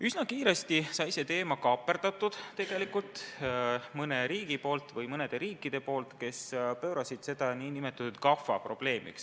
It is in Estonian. Üsna kiiresti kaaperdasid selle teema mõned riigid, kes pöörasid selle nn GAFA probleemiks.